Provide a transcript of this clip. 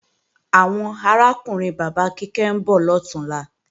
Àwọn arákùnrin bàbá Kíkẹ́ ń bọ̀ lọ̀túnla